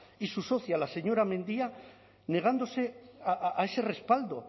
y su socia la señora mendia negándose a ese respaldo